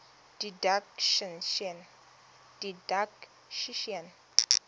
didactician